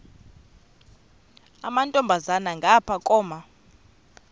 amantombazana ngapha koma